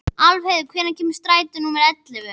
Álfheiður, hvenær kemur strætó númer ellefu?